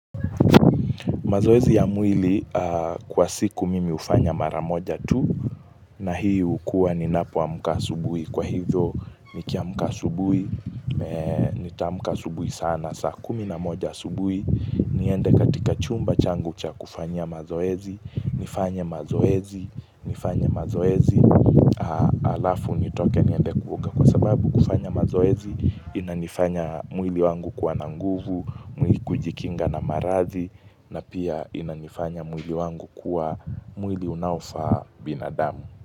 Mazoezi ya mwili kwa siku mimi hufanya mara moja tu na hiyo kuwa ninapuo amka asubuhi kwa hivyo nikiamka asubuhi, nitaamka asubuhi sana, saa kumi na moja asubuhi, niende katika chumba changu cha kufanya mazoezi, nifanye mazoezi, nifanye mazoezi, alafu nitoke niende kuoga kwa sababu kufanya mazoezi, inanifanya mwili wangu kuwa na nguvu, mwili kujikinga na maradhi na pia inanifanya mwili wangu kuwa mwili unaofaa binadamu.